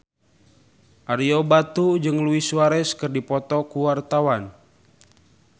Ario Batu jeung Luis Suarez keur dipoto ku wartawan